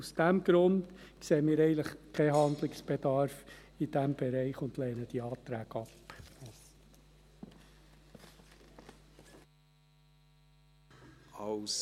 Aus diesem Grund sehen wir in diesem Bereich keinen Handlungsbedarf und wir lehnen die Anträge ab.